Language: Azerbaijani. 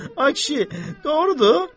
Ay kişi, doğrudur?